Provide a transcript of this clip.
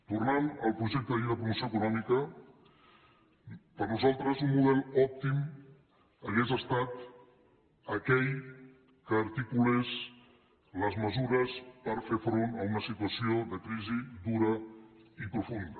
tornant al projecte de llei de promoció econòmica per nosaltres un model òptim hauria estat aquell que articulés les mesures per fer front a una situació de crisi dura i profunda